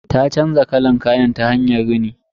Ta canza kalan kayan ta hanyar rini.